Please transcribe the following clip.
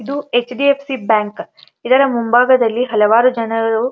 ಇದು HDFC bank ಇದರ ಮುಂಭಾಗದಲ್ಲಿ ಹಲವಾರು ಜನರು --